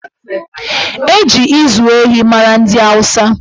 Eji ịzụ ehi mara ndị Awụsa